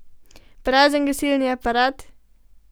Prazen gasilni aparat?